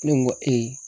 Ne ko n ko